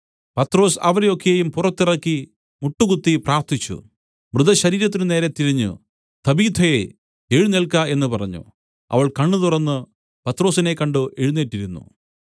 പത്രൊസ് അവരെ ഒക്കെയും പുറത്തിറക്കി മുട്ടുകുത്തി പ്രാർത്ഥിച്ചു മൃതശരീരത്തിനു നേരെ തിരിഞ്ഞു തബീഥയേ എഴുന്നേൽക്ക എന്നു പറഞ്ഞു അവൾ കണ്ണുതുറന്നു പത്രൊസിനെ കണ്ട് എഴുന്നേറ്റ് ഇരുന്നു